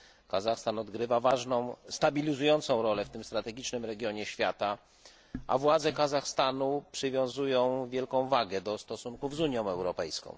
Kazachstan odgrywa ważną, stabilizującą rolę w tym strategicznym regionie świata, a władze Kazachstanu przywiązują wielką wagę do stosunków z Unią Europejską.